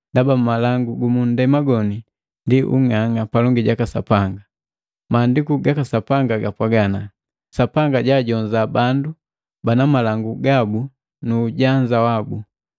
Ndaba malangu ga ndema ndi ung'ang'a palongi jaka Sapanga. Maandiku ga Sapi gapwaga, “Sapanga jaajonza bandu bana malangu gabu nu ujanza wabu.”